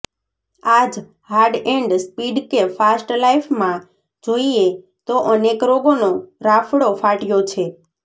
આજ હાડ and speed કે ફાસ્ટ લાઇફમાં જોઈએ તો અનેક રોગોનો રાફડો ફાટ્યો છે